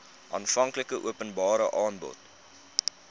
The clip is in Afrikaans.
aanvanklike openbare aanbod